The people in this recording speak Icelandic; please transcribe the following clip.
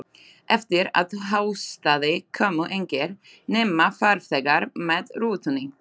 Eftir að haustaði komu engir, nema farþegar með rútunni.